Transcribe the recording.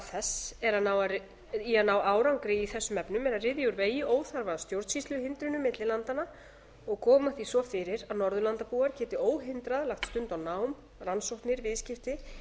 þess í að ná árangri í þessum efnum er að ryðja úr vegi óþarfa stjórnsýsluhindrunum milli landanna og koma því svo fyrir að norðurlandabúar geti óhindrað lagt stund á nám rannsóknir viðskipti